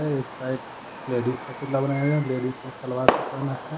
एक side ladies का पुतला बना है लेडीज ने सलवार सूट पहना है।